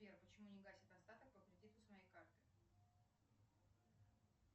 сбер почему не гасит остаток по кредиту с моей карты